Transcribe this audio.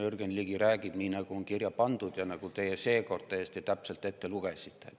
Jürgen Ligi räägib nii, nagu on kirja pandud ja nagu te seekord täiesti täpselt ette lugesite.